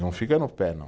Não fica no pé, não.